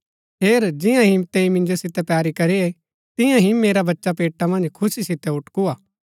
हेर जियां ही तैंई मिन्जो सितै पैरी करी तियां ही मेरा बच्चा पेटा मन्ज खुशी सितै ऊटकुआ